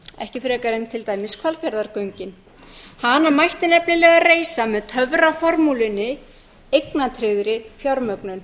ekki frekar en til dæmis hvalfjarðargöng hana mætti nefnilega reisa með töfraformúlunni eignatryggðri fjármögnun